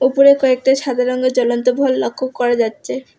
উপরে কয়েকটা সাদা রঙ্গের জ্বলন্ত লক্ষ্য করা যাচ্ছে।